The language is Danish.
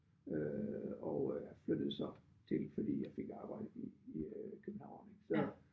Øh og øh flyttede så til fordi jeg fik arbejde i i øh København ik så